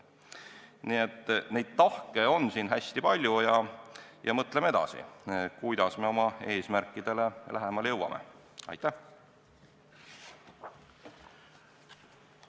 Nii et tahke on siin hästi palju ja mõtleme edasi, kuidas me oma eesmärkidele lähemale jõuame!